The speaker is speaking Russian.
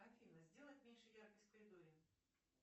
афина сделать меньше яркость в коридоре